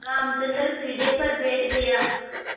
रामचंद्र पीढ़े पर बैठ गया